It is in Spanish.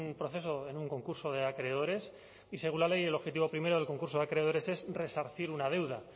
proceso en un concurso de acreedores y según la ley el objetivo primero del concurso de acreedores es resarcir una deuda